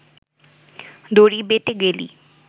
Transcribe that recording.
দড়ি বেটে গেলি